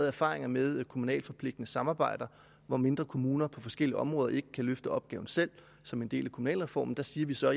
erfaringer med kommunalt forpligtende samarbejder hvor mindre kommuner på forskellige områder ikke kan løfte opgaven selv som en del af kommunalreformen siger vi så at